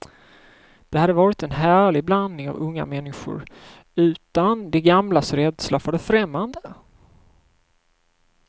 Det hade varit en härlig blandning av unga människor utan de gamlas rädsla för det främmande.